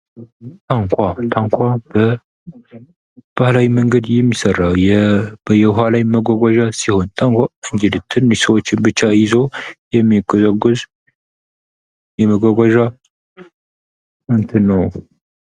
ታንኳ ታንኳ በባህላያዊ መንገድ የሚሠራ የውሃ ላይ መጓጓዣ ሲሆን ታንኳ እንግዲህ ትንሽ ሰዎችን ብቻ ይዞ የሚያጓጓዝ የመጓጓዣ እንትን ነው።